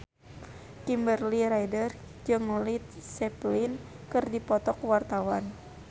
Kimberly Ryder jeung Led Zeppelin keur dipoto ku wartawan